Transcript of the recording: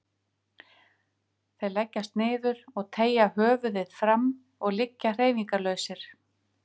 Þeir leggjast niður og teygja höfuðið fram og liggja hreyfingarlausir.